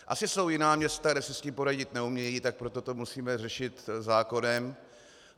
Asi jsou jiná města, kde si s tím poradit neumějí, tak proto to musíme řešit zákonem.